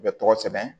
U bɛ tɔgɔ sɛbɛn